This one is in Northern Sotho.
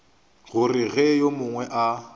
gore ge yo mongwe a